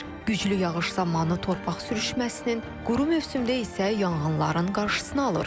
Güclü yağış zamanı torpaq sürüşməsinin, quru mövsümdə isə yanğınların qarşısını alır.